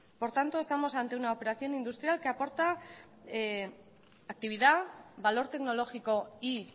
por tanto estamos ante una operación industrial que aporta actividad valor tecnológico y